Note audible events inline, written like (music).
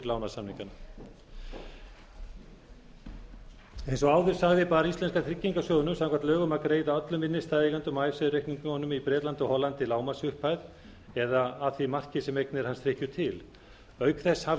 lánasamningana eins og áður sagði bar íslenska tryggingarsjóðnum samkvæmt lögum að greiða öllum innstæðueigendum á (unintelligible) reikningunum í bretlandi og hollandi lágmarksupphæð eða að því marki sem eignir hans hrykkju til auk þess hafði